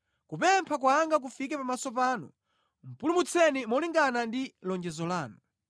Kupempha kwanga kufike pamaso panu; pulumutseni molingana ndi lonjezo lanu.